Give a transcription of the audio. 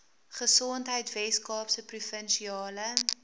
gesondheid weskaapse provinsiale